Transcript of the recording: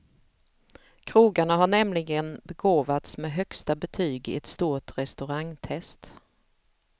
Krogarna har nämligen begåvats med högsta betyg i ett stort restaurangtest.